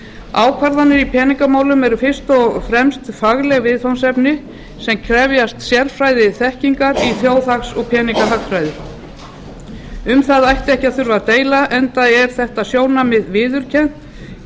ákvarðanir í peningamálum eru fyrst og fremst fagleg viðfangsefni sem krefjast sérfræðiþekkingar í þjóðhags og peningahagfræði um það ætti ekki að þurfa að deila enda er þetta sjónarmið viðurkennt í